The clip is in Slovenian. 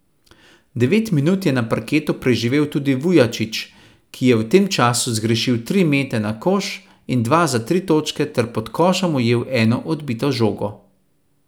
Devet minut je na parketu preživel tudi Vujačić, ki je v tem času zgrešil tri mete na koš in dva za tri točke ter pod košem ujel eno odbito žogo.